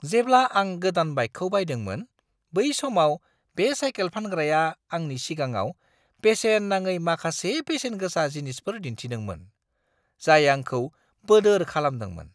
जेब्ला आं गोदान बाइकखौ बायदोंमोन, बै समाव बे साइकेल फानग्राया आंनि सिगाङाव बेसेन-नाङै माखासे बेसेनगोसा जिनिसफोर दिन्थिदोंमोन, जाय आंखौ बोदोर खालामदोंमोन!